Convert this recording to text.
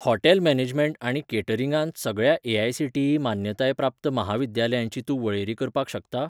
Hotel management आनी कॅटरिंगांत सगळ्या ए.आय.सी.टी.ई मान्यताय प्राप्त म्हाविद्यालयांची तूं वळेरी करपाक शकता?